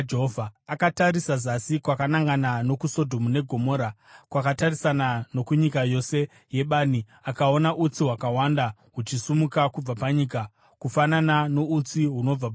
Akatarisa zasi kwakanangana nokuSodhomu neGomora, kwakatarisana nokunyika yose yebani, akaona utsi hwakawanda huchisimuka kubva panyika, kufanana noutsi hunobva pachoto.